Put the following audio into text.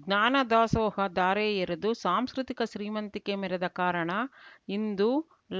ಜ್ಞಾನದಾಸೋಹ ಧಾರೆ ಎರೆದು ಸಾಂಸ್ಕೃತಿಕ ಶ್ರೀಮಂತಿಕೆ ಮೆರೆದ ಕಾರಣ ಇಂದು